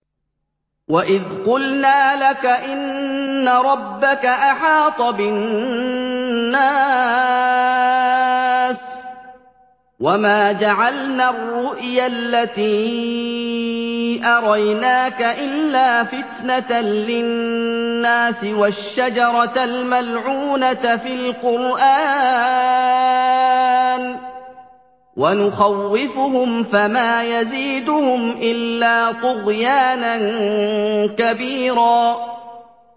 وَإِذْ قُلْنَا لَكَ إِنَّ رَبَّكَ أَحَاطَ بِالنَّاسِ ۚ وَمَا جَعَلْنَا الرُّؤْيَا الَّتِي أَرَيْنَاكَ إِلَّا فِتْنَةً لِّلنَّاسِ وَالشَّجَرَةَ الْمَلْعُونَةَ فِي الْقُرْآنِ ۚ وَنُخَوِّفُهُمْ فَمَا يَزِيدُهُمْ إِلَّا طُغْيَانًا كَبِيرًا